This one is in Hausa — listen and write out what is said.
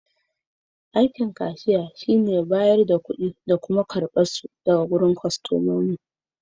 Kashiya shi ne yake bada da karbar ƙuɗi a banki.